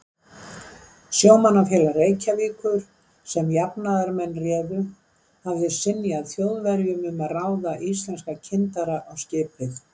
Sjómannafélag Reykjavíkur, sem jafnaðarmenn réðu, hafði synjað Þjóðverjum um að ráða íslenska kyndara á skipið.